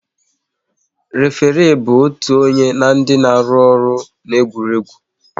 Référé bụ otu onye na ndị na-arụ ọrụ n'egwuregwu